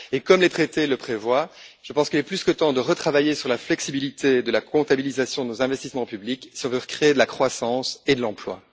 Comme les traités le prévoient, je pense qu'il est plus que temps de retravailler sur la flexibilité de la comptabilisation de nos investissements publics si on veut recréer de la croissance et de l'emploi.